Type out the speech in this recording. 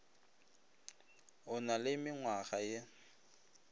o na le mengwa ye